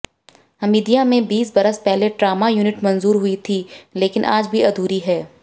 हमीदिया में बीस बरस पहले ट्रामा युनिट मंजूर हुई थी लेकिन आज भी अधूरी है